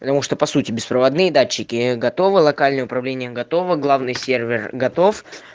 потому что по сути беспроводные датчики готовы локальное управление готово главный сервер готов